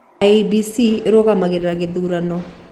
IEBC ĩrũgamagĩrĩra gĩthuurano